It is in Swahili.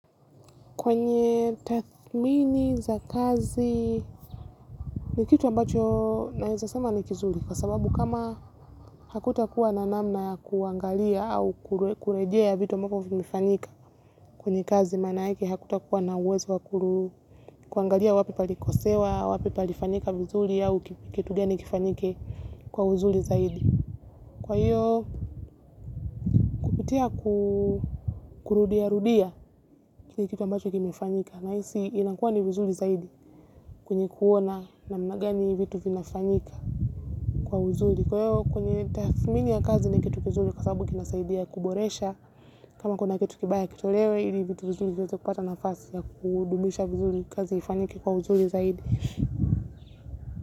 Kwenye tathmini za kazi ni kitu ambacho naiza sama nikizuli kwa sababu kama hakuta kuwa nanamna kuangalia au kurejea ya vitu ambavo vimefanyika kwenye kazi manake hakuta kuwa na uwezo wa kuru kuangalia wapi palikosewa, wapi palifanyika vizuli au kitu gani kifanyike kwa uzuli zaidi. Kwa hiyo kupitia kurudia rudia ni kitu ambacho kimefinyika naiisi kinakuwa ni vizuri zaidi kwenye kuona namna gani hizi vitu zinafanyika kwa uzuli. Kwa hiyo kwenye tafmini ya kazi ni kitu huzuli kasabu kinasaidia kuboresha kama kuna kitu kibaya kitolewe ili vitu vizuli kineze kupata na fasi ya kudubisha vizuli kazi yifanyika kwa uzuli zaidi.